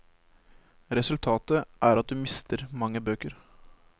Resultatet er at du mister mange bøker.